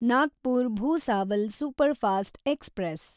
Nagpur Bhusawal superfast express